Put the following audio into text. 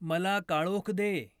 मला काळोख दे